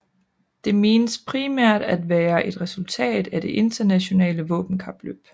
Det menes primært at være et resultat af det internationale våbenkapløb